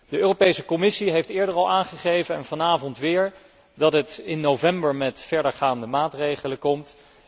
De Europese Commissie heeft eerder al aangegeven en vanavond opnieuw, dat zij in november met verdergaande maatregelen zal komen.